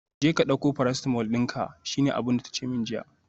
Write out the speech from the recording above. Jeka dauko paracetamol dinka, shine abinda tace min jiya